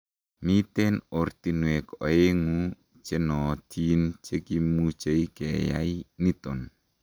mitei ortinwek oengu chenootin chekimuchei keyai niton